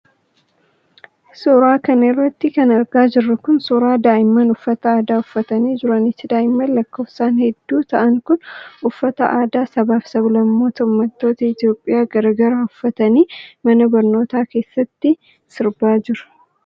Suura kana irratti kan argaa jirru kun, suura daa'imman uffata aadaa uffatanii jiraniiti. Daa'imman lakkoofsan hedduu ta'an kun, uffata aadaa sabaa fi sablammootaa fi ummattoota Itoophiyaa garaa garaa uffatanii, mana barnootaa keessatti sirbaa jiru.